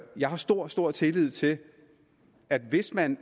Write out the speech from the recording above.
jeg har stor stor tillid til at hvis man